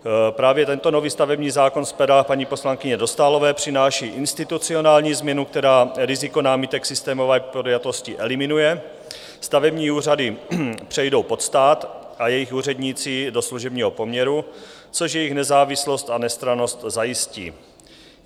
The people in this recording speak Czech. Právě tento nový stavební zákon z pera paní poslankyně Dostálové přináší institucionální změnu, která riziko námitek systémové podjatosti eliminuje, stavební úřady přejdou pod stát a jejich úředníci do služebního poměru, což jejich nezávislost a nestrannost zajistí.